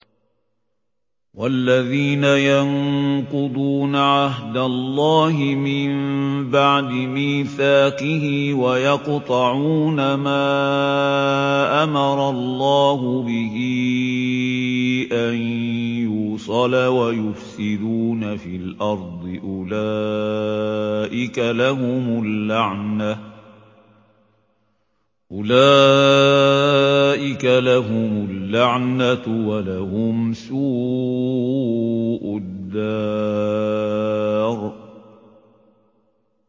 وَالَّذِينَ يَنقُضُونَ عَهْدَ اللَّهِ مِن بَعْدِ مِيثَاقِهِ وَيَقْطَعُونَ مَا أَمَرَ اللَّهُ بِهِ أَن يُوصَلَ وَيُفْسِدُونَ فِي الْأَرْضِ ۙ أُولَٰئِكَ لَهُمُ اللَّعْنَةُ وَلَهُمْ سُوءُ الدَّارِ